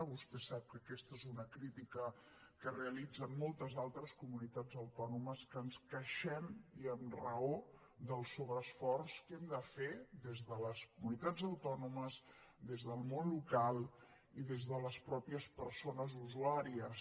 vostè sap que aquesta és una crítica que realitzen moltes altres comunitats autònomes que ens queixem i amb raó del sobreesforç que hem de fer des de les comunitats autònomes des del món local i des de les mateixes persones usuàries